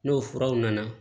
N'o furaw nana